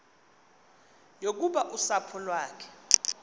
yokuba usapho lwakhe